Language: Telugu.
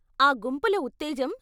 ఆ గుంపుల ఉత్తేజం!